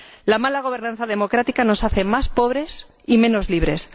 La mala gobernanza democrática nos hace más pobres y menos libres